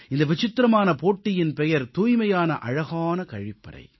இந்த விசித்திரமான போட்டியின் பெயர் தூய்மையான அழகான கழிப்பறை